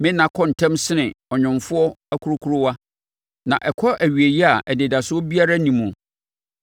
“Me nna kɔ ntɛm sene ɔnwomfoɔ akurokurowa, na ɛkɔ awieeɛ a anidasoɔ biara nni muo.